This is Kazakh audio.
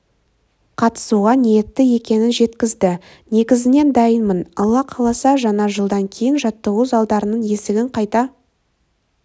қатысуға ниетті екенін жеткізді негізінен дайынмын алла қаласа жаңа жылдан кейін жаттығу залдарының есігін қайта